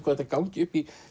þetta gangi upp